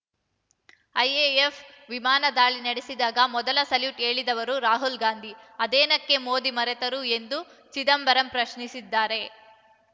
IAF ವಿಮಾನ ದಾಳಿ ನಡೆಸಿದಾಗ ಮೊದಲು ಸಲ್ಯೂಟ್ ಹೇಳಿದವರು ರಾಹುಲ್ ಗಾಂಧಿ ಅದನ್ನೇಕೆ ಮೋದಿ ಮರೆತರು ಎಂದು ಚಿದಂಬರಂ ಪ್ರಶ್ನಿಸಿದ್ದಾರೆ